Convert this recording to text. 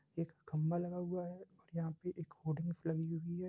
एक खंभा लगा हुआ है और यहाँ पे एक होर्डिग्स लगी हुई है।